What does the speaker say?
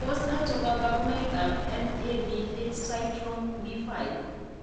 Tos achon kabarunaik ab NADH cytochrome B5 ?